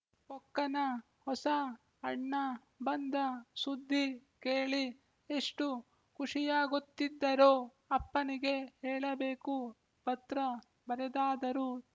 ಪೊಕ್ಕನ ಹೊಸ ಅಣ್ಣ ಬಂದ ಸುದ್ದಿ ಕೇಳಿ ಎಷ್ಟು ಖುಶಿಯಾಗುತ್ತಿದ್ದರೋ ಅಪ್ಪನಿಗೆ ಹೇಳಬೇಕುಪತ್ರ ಬರೆದಾದರೂ